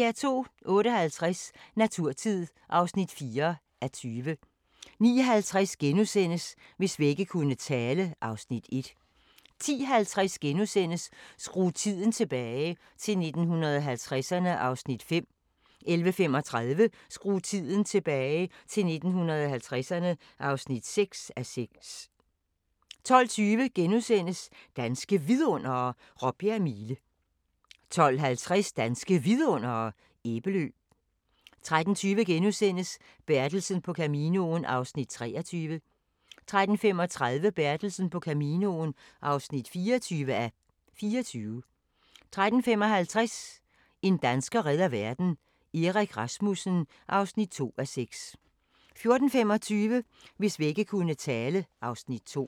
08:50: Naturtid (4:20) 09:50: Hvis vægge kunne tale (Afs. 1)* 10:50: Skru tiden tilbage – til 1950'erne (5:6)* 11:35: Skru tiden tilbage - til 1950'erne (6:6) 12:20: Danske Vidundere: Råbjerg Mile * 12:50: Danske Vidundere: Æbelø 13:20: Bertelsen på Caminoen (23:24)* 13:35: Bertelsen på Caminoen (24:24) 13:55: En dansker redder verden – Erik Rasmussen (2:6) 14:25: Hvis vægge kunne tale (Afs. 2)